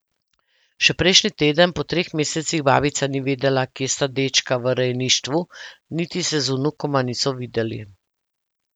Še prejšnji teden, po treh mesecih, babica ni vedela, kje sta dečka v rejništvu, niti se z vnukoma niso videli.